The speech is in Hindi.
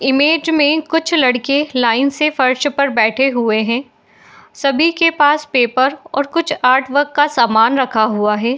इमेज में कुछ लड़के लाइन से फ़र्श पर बैठे हुए हैं सभी के पास पेपर और कुछ आर्ट वर्क का समान रखा हुआ है।